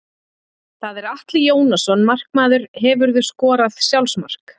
Það er Atli Jónasson markmaður Hefurðu skorað sjálfsmark?